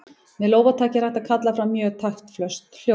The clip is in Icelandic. Með lófataki er hægt að kalla fram mjög taktföst hljóð.